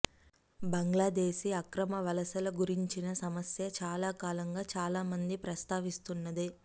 బంగ్లాదేశీ అక్రమ వలసల గురించిన సమస్య చాలా కాలంగా చాలా మంది ప్రస్తావిస్తున్నదే